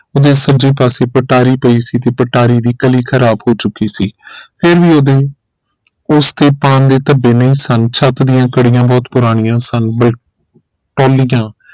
ਉਹਦੇ ਸਜੇ ਪਾਸੇ ਪਟਾਰੀ ਪਈ ਸੀ ਤੇ ਪਟਾਰੀ ਦੀ ਕਲੀ ਖਰਾਬ ਹੋ ਚੁਕੀ ਸੀ ਫਿਰ ਵੀ ਓਹਦੇ ਉਸ ਤੇ ਪਾਨ ਦੇ ਧੱਬੇ ਨੇ ਸਨ ਛੱਤ ਦੀਆਂ ਕੜੀਆਂ ਬਹੁਤ ਪੁਰਾਣੀਆਂ ਸਨ